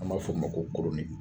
An b'a f'o ma ko